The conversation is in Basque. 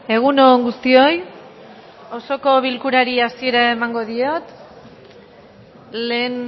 egun on guztioi osoko bilkurari hasiera emango diot lehen